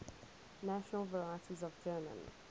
national varieties of german